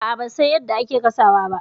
A'a, ban san yadda ake gasawa ba.